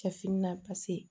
Cɛ fini na pase